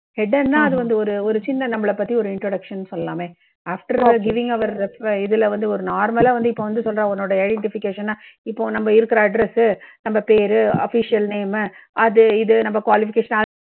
header னா அது வந்து ஒரு ஒரு சின்ன நம்பளை பத்தி ஒரு introduction னு சொல்லலாமே. after giving our இதுல வந்து ஒரு normal லா வந்து இப்போ வந்து உன்னோட identification னா இப்போ நம்ப இருக்கற address சு, நம்ப பேரு, official name மு, அது இது நம்ப qualification